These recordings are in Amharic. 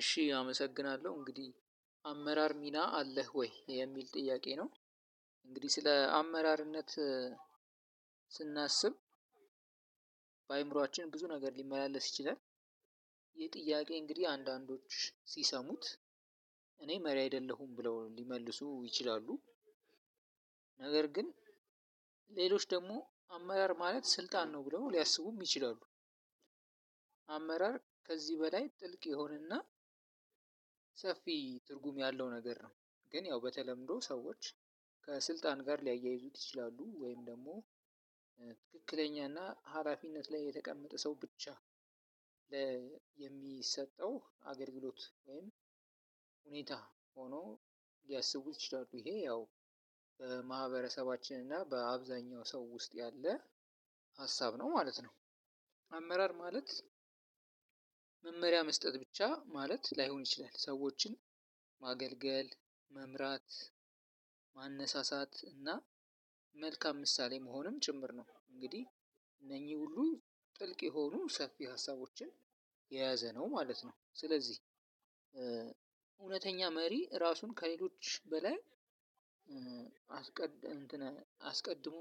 እሺ አመሰግናለሁ እንግዲህ አመራር ሚና አለህ ወይ የሚል ጥያቄ ነው? እንግዲህ ስለ አመራርነት ስናስብ በአእምሮአችን ብዙ ነገር ሊመላለስ ይችላል። ይህ ጥያቄ እንግዲህ አንዳንዶች ሲሰሙት እኔ መሪ አይደለሁም ብለው ሊመልሱ ይችላሉ። ነገር ግን ሌሎች ደግሞ አመራር ማለት ስልጣን ነው ብለው ሊያስቡም ይችላሉ። አመራር ከዚህ በላይ ጥልቅ የሆነና ሰፊ ትርጉም ያለው ነገር ነው። ግን ያው በተለምዶ ሰዎች ከስልጣን ጋር ሊያያይዙት ይችላሉ ወይም ደግሞ ትክክለኛና ሀላፊነት ላይ የተቀመጠ ሰው ብቻ ለ የሚሰጠው አገልግሎት ወይም ሁኔታ ሆኖ ሊያስቡት ይችላሉ። ይሄ ያው በማህበረሰባችን እና በአብዛኛው ሰው ውስጥ ያለ ሀሳብ ነው ማለት ነው። አመራር ማለት መመሪያ መስጠት ብቻ ማለት ላይሆን ይችላል። ሰዎችን ማገልገል መምራት ማነሳ እና መልካም ምሳሌ መሆኑም ጭምር ነው። እንግዲህ እነኚህ ሁሉ ጥልቅ የሆኑ ሰፊ ሀሳቦችን የያዘ ነው ማለት ነው። ስለዚህ እውነተኛ መሪ ራሱን ከሌሎች በላይ እንትን አስቀድሞ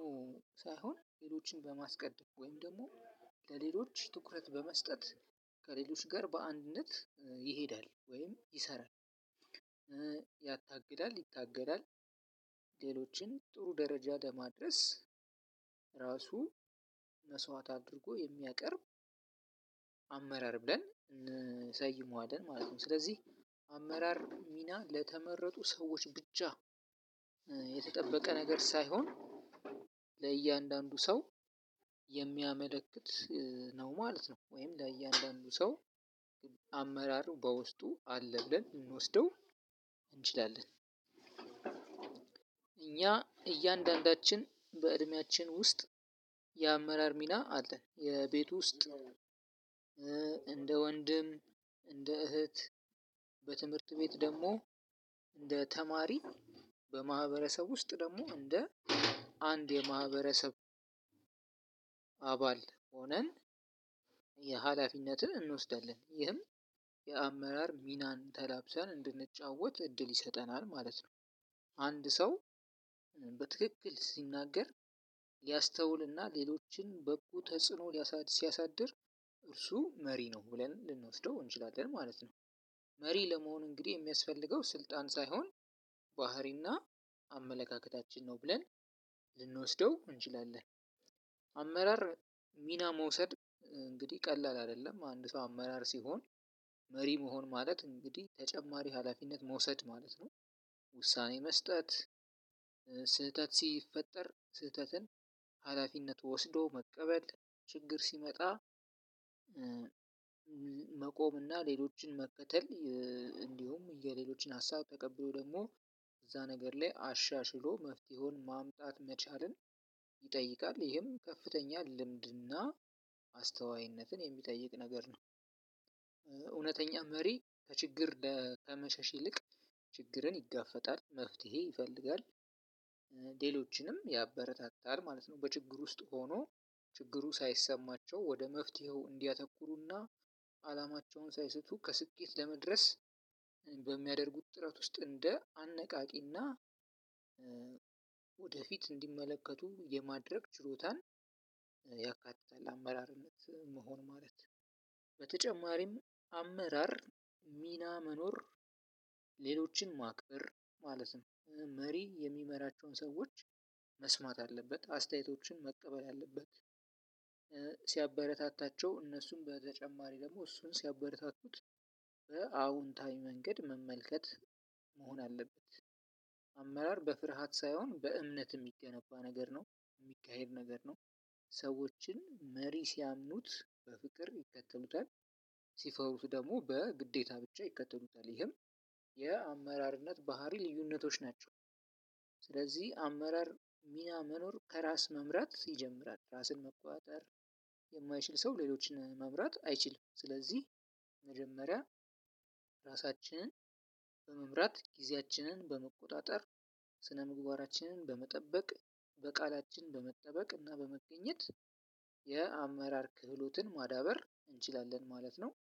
ሳይሆን ሌሎችን በማስቀድም ወይም ደግሞ ለሌሎች ትኩረት በመስጠት ከሌሎች ጋር በአንድነት ይሄዳል ወይም ይሰራል። ያታግላል ይታገላል ሌሎችን ጥሩ ደረጃ ለማድረስ ራሱን መስዋዕት አድርጎ የሚያቀርብ አመራር ብለን እንሰይመዋለን ማለት ነው። ስለዚህ አመራር ሚና ለተመረጡ ሰዎች ብቻ የተጠበቀ ነገር ሳይሆን ለእያንዳንዱ ሰው የሚያመለክት ነው ማለት ነው። ወይም ለእያንዳንዱ ሰው አመራሩ በውስጡ አለ ብለን እንወስደው እንችላለን። እኛ እያንዳንዳችን በእድሜያችን ውስጥ የአመራር ሚና አለን የቤት ውስጥ እንደ ወንድም እንደ እህት በትምህርት ቤት ደግሞ እንደ ተማሪ በማህበረሰብ ውስጥ ደግሞ እንደ አንድ የማህበረሰብ አባል ሆነን የሀላፊነትን እንወስዳለን ይህም የአመራር ሚናን ተላብሰን እንድንጫወት እድል ይሰጠናል ማለት ነው። አንድ ሰው በትክክል ሲናገር ሊያስተውልና ሌሎችን ብቁ ተጽዕኖ ሲያሳድር እርሱ መሪ ነው ብለን ልንወስደው እንችላለን ማለት ነው። መሪ ለመሆን እንግዲህ የሚያስፈልገው ስልጣን ሳይሆን ባህሪና አመለካከታችን ነው ብለን ልንወስደው እንችላለን። አመራር ሚና መውሰድ እንግዲህ ቀላል አይደለም። አንድ ሰው አመራር ሲሆን መሪ መሆን ማለት እንግዲህ ተጨማሪ ሀላፊነት መውሰድ ማለት ነው። ውሳኔ መስጠት ስህተት ሲፈጠር ስህተትን ሀላፊነት ወስዶ መቀበል ችግር ሲመጣ መቆም እና ሌሎችን መከተል እንዲሁም የሌሎችን ሀሳብ ተቀብሎ ደግሞ እዛ ነገር ላይ አሻሽሎ መፍትሄውን ማምጣት መቻልን ይጠይቃል። ይሄም ከፍተኛ ልምድና አስተዋይነትን የሚጠይቅ ነገር ነው። እውነተኛ መሪ ከችግር ከመሸሽ ይልቅ ችግርን ይጋፈጣል መፍትሄ ይፈልጋል ሌሎችንም ያበረታታል ማለት ነው። በችግር ውስጥ ሆኖ ችግሩ ሳይሰማቸው ወደ መፍትሄው እንዲያተኩሩና አላማቸውን ሳይስቱ ከስኬት ለመድረስ በሚያደርጉት ጥረት ውስጥ እንደ አነቃቂና ወደፊት እንዲመለከቱ የማድረግ ችሎታን ያካትታል። አመራርነት መሆን ማለት በተጨማሪም አመራር ሚና መኖር ሌሎችን ማክበር ማለት ነው። መሪ የሚመራቸውን ሰዎች መስማት አለበት አስተያየቶችን መቀበል አለበት። ሲያበረታታቸው እነሱም በተጨማሪ ደግሞ እሱን ሲያበረታቱት በአዎንታዊ መንገድ መመልከት መሆን አለበት። አመራር በፍርሃት ሳይሆን በእምነት የሚገነባ ነገር ነው የሚካሄድ ነው። ሰዎችን መሪ ሲያምኑት በፍቅር ይከተሉታል ሲፈሩት ደግሞ በግዴታ ብቻ ይከተሉታል ይህም የአመራርነት ባህሪ ልዩነቶች ናቸው። ስለዚህ አመራር ሚና መኖር ከራስ መምራት ይጀምራል ራስን መቆጣጠር የማይችል ሰው ሌሎችን መምራት አይችልም። ስለዚህ መጀመሪያ ራሳችንን በመምራት ጊዜያችንን በመቆጣጠር ስነ ምግባራችንን በመጠበቅ በቃላችን በመጠበቅ እና በመገኘት የአመራር ክህሎትን ማዳበር እንችላለን ማለት ነው